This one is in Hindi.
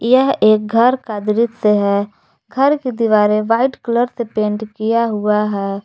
यह एक घर का दृश्य है घर की दीवारें व्हाइट कलर से पेंट किया हुआ है।